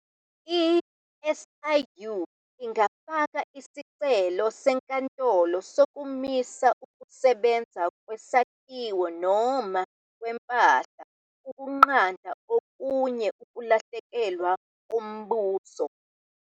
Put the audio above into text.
I-SIU ingafaka isicelo senkantolo sokumisa ukusebenza kwesakhiwo noma kwempahla ukunqanda okunye ukulahlekelwa koMbuso.